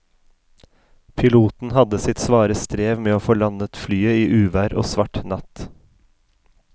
Piloten hadde sitt svare strev med å få landet flyet i uvær og svart natt.